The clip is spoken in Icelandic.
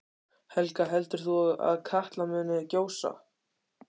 Helga: Heldur þú að Katla muni gjósa?